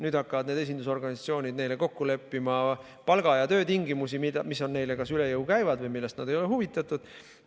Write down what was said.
Nüüd hakkavad need esindusorganisatsioonid neile kokku leppima palga- ja töötingimusi, mis neile kas üle jõu käivad või millest nad ei ole huvitatud.